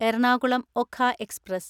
Ernakulam Okha express